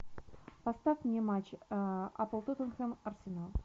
поставь мне матч апл тоттенхэм арсенал